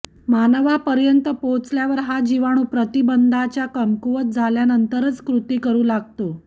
मानवापर्यंत पोहचावर हा जीवाणू प्रतिबंधाच्या कमकुवत झाल्यानंतरच कृती करु लागतो